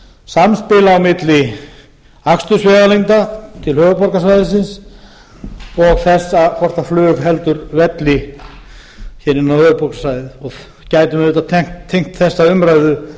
samspil á milli akstursvegalengda til höfuðborgarsvæðisins og þess hvort flug heldur velli hér inn á höfuðborgarsvæðið og gætum auðvitað tengt þessa umræðu